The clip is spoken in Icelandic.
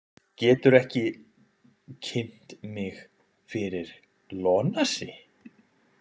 Geturðu ekki kynnt mig fyrir Ionasi?